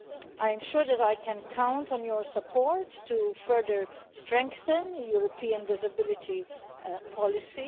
I am sure that I can count on your support to further strengthen European disability policy.